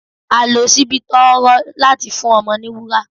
À lò sìbì tọ rọ latí fún ọmọ ní wúrá